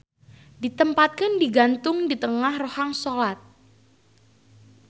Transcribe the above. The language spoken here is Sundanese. Ditempatkeun digantung di tengah rohang solat.